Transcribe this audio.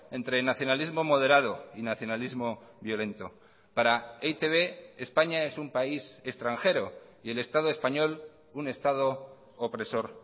entre el nacionalismo moderado y nacionalismo violento para e i te be españa es un país extranjero y el estado español un estado opresor